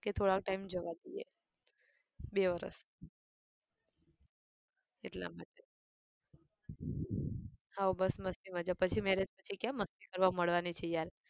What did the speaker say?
કે થોડાક time જવા દઈએ બે વર્ષ એટલા માટે હા બસ મસ્તી મજા પછી marriage પછી ક્યાં મસ્તી કરવા મળવાની છે યાર.